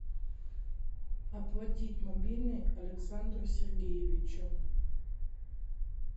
оплатить мобильный александру сергеевичу